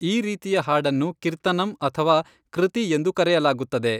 ಈ ರೀತಿಯ ಹಾಡನ್ನು ಕಿರ್ತನಂ ಅಥವಾ ಕೃತಿ ಎಂದು ಕರೆಯಲಾಗುತ್ತದೆ.